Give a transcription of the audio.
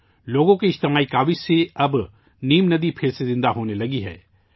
عوام کی اجتماعی کوششوں سے اب 'نیم ندی ' پھر سے زندہ ہونے لگی ہے